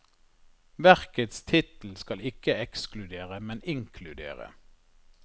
Verkets tittel skal ikke ekskludere, men inkludere.